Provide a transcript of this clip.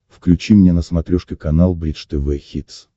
включи мне на смотрешке канал бридж тв хитс